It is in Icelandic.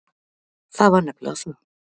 Það var nefnilega það.